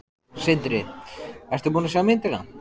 Sindri: Ertu búin að sjá myndina?